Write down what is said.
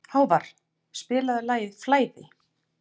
Hávarr, spilaðu lagið „Flæði“.